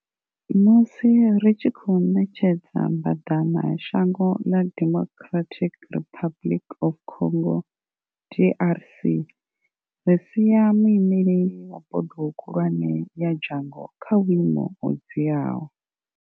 Musi ri tshi khou ṋetshedza mbaḓana shango ḽa Democratic Republic of Congo DRC ri sia muimeleli wa bodo khulwane ya dzhango kha vhuimo ho dziaho.